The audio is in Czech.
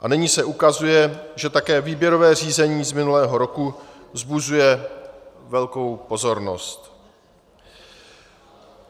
A nyní se ukazuje, že také výběrové řízení z minulého roku vzbuzuje velkou pozornost.